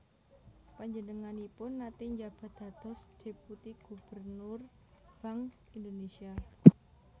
Panjenenganipun naté njabat dados deputi Gubernur Bank Indonesia